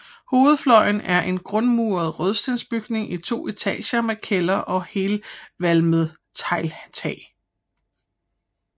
Hovedfløjen er en grundmuret rødstensbygning i to etager med kælder og helvalmet tegltag